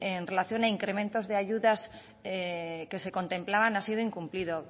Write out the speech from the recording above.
en relación a incrementos de ayudas que se contemplaban ha sido incumplido